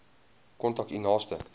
kontak u naaste